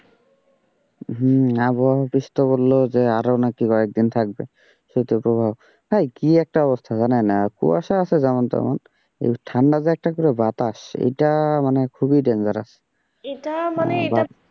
হম আবহাওয়া বললো যে আরো নাকি কয়েকদিন থাকবে, শীতের প্রভাব ভাই কি একটা অবস্থা জানেন কুয়াশা আছে যেমন তেমন ঠান্ডা যে একটা করে বাতাস এইটা মানে খুবই dangerous এটা মানে এটা,